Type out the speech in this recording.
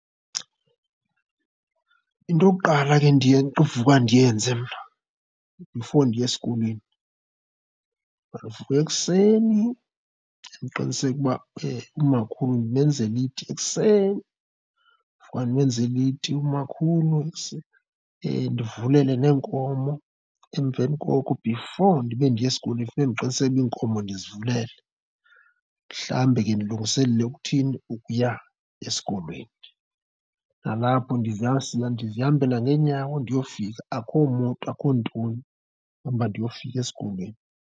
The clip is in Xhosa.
Into yokuqala ke endiye uvuka ndiyenze mna before ndiye esikolweni, ndivuka ekuseni ndiqiniseke ukuba umakhulu ndimenzele iti ekuseni. Ndivuka ndimenzele iti umakhulu ndivulele neenkomo emveni koko. Before ndibe ndiya esikolweni funeke ndiqiniseke ukuba iinkomo ndizivulele. Ndihlambe ke ndilungiselele ukuthini? Ukuya esikolweni. Nalapho ndizihambele ngeenyawo ndiyofika, akho moto, akho ntoni, ndihamba ndiyofika esikolweni.